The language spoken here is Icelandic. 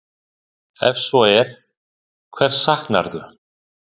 Ef svo er, hvers saknarðu?